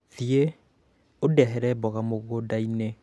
thiĩ ũndehere mboga mũgũnda-inĩ